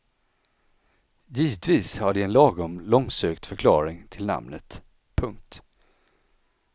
Givetvis har de en lagom långsökt förklaring till namnet. punkt